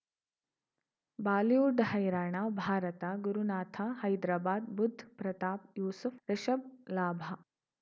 Bollywood ಹೈರಾಣ ಭಾರತ ಗುರುನಾಥ ಹೈದರಾಬಾದ್ ಬುಧ್ ಪ್ರತಾಪ್ ಯೂಸುಫ್ ರಿಷಬ್ ಲಾಭ